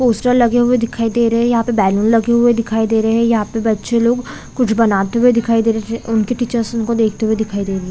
Poster लगे हुए दिखाई दे रहे है यहाँ पे बलून लगे हुए दिखाई दे रहे है यहाँ पे बच्चे लोग कुछ बनाते हुए दिखाई दे रहे है उनके टीचर उनको देखते हुए दिखाई दे रहे है।